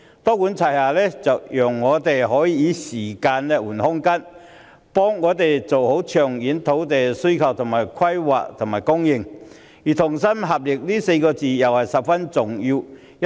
"多管齊下"讓我們能夠以時間換取空間，妥善處理長遠土地需求、規劃和供應，而"同心協力"這4個字亦十分重要。